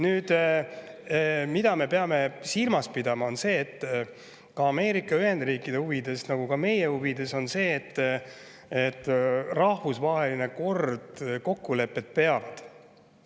Nüüd, mida me peame silmas pidama, on see, et Ameerika Ühendriikide huvides nagu ka meie huvides on see, et rahvusvahelised kokkulepped peavad.